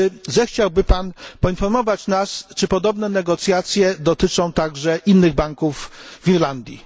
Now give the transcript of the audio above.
Czy zechciałby pan poinformować nas, czy podobne negocjacje dotyczą także innych banków w Irlandii?